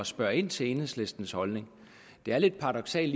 spørge ind til enhedslistens holdning det er lidt paradoksalt